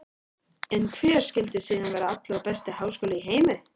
En hver skyldi síðan vera allra besti háskóli í heimi?